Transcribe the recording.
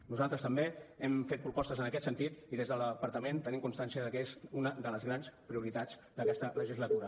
nosaltres també hem fet propostes en aquest sentit i des del departament tenim constància de que és una de les grans prioritats d’aquesta legislatura